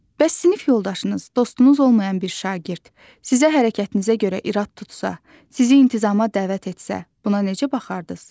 Bəs sinif yoldaşınız, dostunuz olmayan bir şagird sizə hərəkətinizə görə irad tutsa, sizi intizama dəvət etsə, buna necə baxardınız?